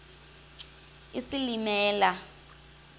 isilimela